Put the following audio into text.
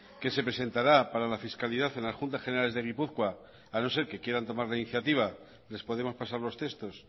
que se presentará para la fiscalidad en las juntas generales de gipuzkoa a no ser que quieran tomar la iniciativa les podemos pasar los textos